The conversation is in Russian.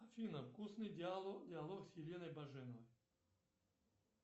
афина вкусный диалог с еленой баженовой